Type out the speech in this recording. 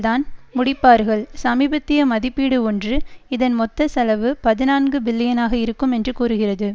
தான் முடிப்பார்கள் சமீபத்திய மதிப்பீடு ஒன்று இதன் மொத்த செலவு பதினான்கு பில்லியன் ஆக இருக்கும் என்று கூறுகிறது